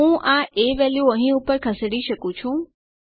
હું આ એ વેલ્યુ અહીં ઉપર ખસેડી શકું છું